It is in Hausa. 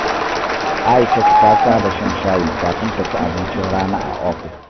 Aishatu ta saba shan shayi kafin ta ci abincin rana a ofis.